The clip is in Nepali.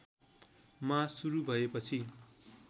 मा सुरु भएपछि